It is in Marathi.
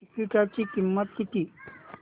तिकीटाची किंमत किती